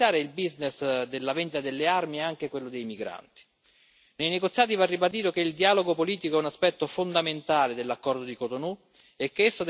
Nei negoziati va ribadito che il dialogo politico è un aspetto fondamentale dell'accordo di Cotonou e che esso deve restare un pilastro centrale nel quadro giuridico generale.